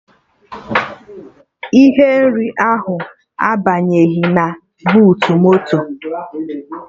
Ihe nri ahụ abanyeghị na buutu moto